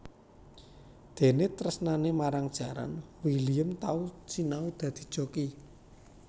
Déné tresnané marang jaran William tau sinau dadi joki